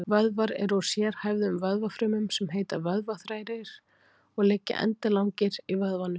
Vöðvar eru úr sérhæfðum vöðvafrumum sem heita vöðvaþræðir og liggja endilangir í vöðvanum.